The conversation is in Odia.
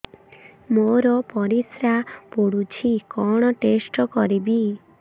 ମୋର ପରିସ୍ରା ପୋଡୁଛି କଣ ଟେଷ୍ଟ କରିବି